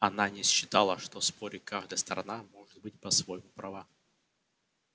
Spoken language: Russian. она не считала что в споре каждая сторона может быть по-своему права